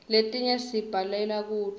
letinye sibhalela kuto